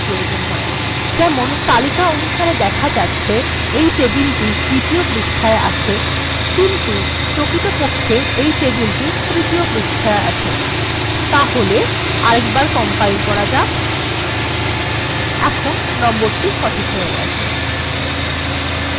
যেমন এখানে দেখা যাচ্ছে তালিকা অনুসারে এই টেবিল দ্বিতীয় পৃষ্ঠায় আছে কিন্তু প্রকৃতপক্ষে এটি তৃতীয় পৃষ্ঠায় আছে তাহলে আবার কম্পাইল্ করা যাক এবার এটি সঠিকভাবে দেখা যাচ্ছে